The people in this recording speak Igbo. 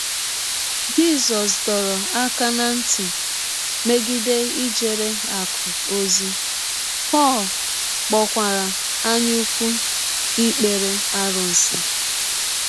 Jisọs dọrọ aka ná ntị megide ijere “ akụ̀ ” ozi, Pọl kpọkwara anyaụkwu ikpere arụsị.